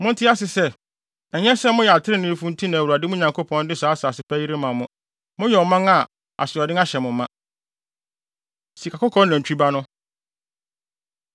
Monte ase sɛ, ɛnyɛ sɛ moyɛ atreneefo nti na Awurade, mo Nyankopɔn, de saa asase pa yi rema mo. Moyɛ ɔman a asoɔden ahyɛ mo ma. Sikakɔkɔɔ Nantwi Ba No